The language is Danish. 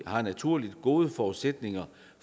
har naturligt gode forudsætninger